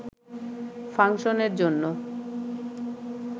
ফাংশনের জন্য